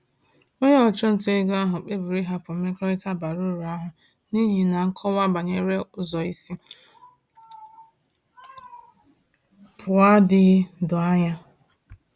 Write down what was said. Onye ọchụnta ego ahụ kpebiri ịhapụ mmekọrịta bara uru ahụ n’ihi na nkọwa banyere ụzọ isi pụọ adịghị doo anya.